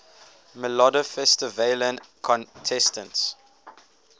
melodifestivalen contestants